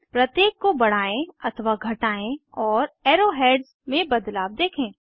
प्रत्येक को बढ़ाएं अथवा घटाएं और एरो हेड्स में बदलाव देखें